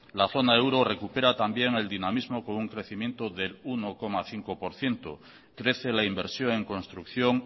la zona euro recupera también el dinamismo con un crecimiento del uno coma cinco por ciento crece la inversión en construcción